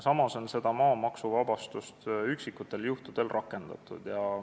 Samas on seda maamaksuvabastust üksikutel juhtudel rakendatud.